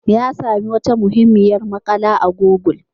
Ya sami wata muhimmiyar makala a google.